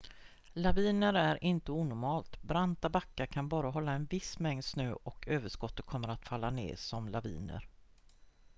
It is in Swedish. laviner är inte onormalt branta backar kan bara hålla en viss mängd snö och överskottet kommer att falla ned som laviner